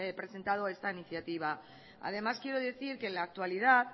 presentado esta iniciativa además quiero decir que en la actualidad